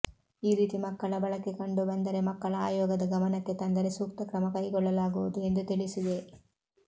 ಈ ರೀತಿ ಮಕ್ಕಳ ಬಳಕೆ ಕಂಡು ಬಂದರೆ ಮಕ್ಕಳ ಆಯೋಗದ ಗಮನಕ್ಕೆ ತಂದರೆ ಸೂಕ್ತ ಕ್ರಮ ಕೈಗೊಳ್ಳಲಾಗುವುದು ಎಂದು ತಿಳಿಸಿದೆ